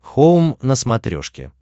хоум на смотрешке